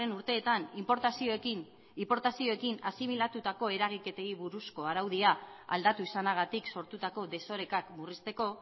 urteetan inportazioekin asimilatutako eragiketei buruzko araudia aldatu izanagatik sortutako desorekak murrizteko